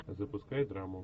запускай драму